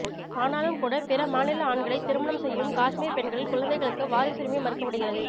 ஆனாலும் கூட பிற மாநில ஆண்களை திருமணம் செய்யும் காஷ்மீர் பெண்களின் குழந்தைகளுக்கு வாரிசுரிமை மறுக்கப்படுகிறது